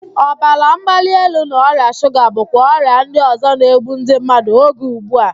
Ọbara mgbali elu na ọrịa shuga bụkwa ọrịa ndị ọzọ na-egbu ndị mmadụ oge ugbu a